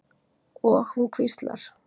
Og hún hvíslar.